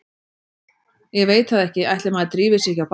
Ég veit það ekki, ætli maður drífi sig ekki á barinn.